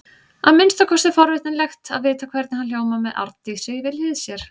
Að minnsta kosti er forvitnilegt að vita hvernig hann hljómar með Arndísi við hlið sér.